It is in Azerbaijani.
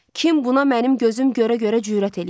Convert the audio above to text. Kim buna mənim gözüm görə-görə cürət eləyər?